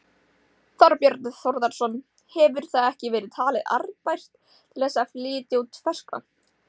Þorbjörn Þórðarson: Hefur það ekki verið talið arðbært til þess að flytja út ferskvatn?